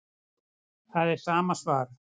Það er sama svar